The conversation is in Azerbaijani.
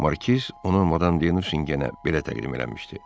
Markiz onu Madam de Nusingenə belə təqdim eləmişdi: